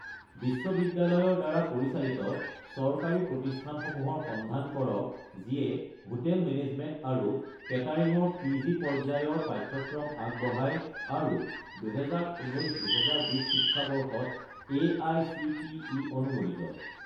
বিশ্ববিদ্যালয়ৰ দ্বাৰা পৰিচালিত-চৰকাৰী প্ৰতিষ্ঠানসমূহৰ সন্ধান কৰক যিয়ে হোটেল মেনেজমেণ্ট আৰু কেটাৰিং ৰ পি.জি. পৰ্যায়ৰ পাঠ্যক্ৰম আগবঢ়ায় আৰু 2019 - 2020 শিক্ষাবৰ্ষত এআইচিটিই অনুমোদিত